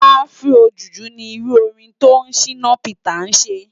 Afro juju ni irù órin to Shina Peters sé